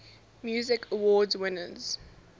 music awards winners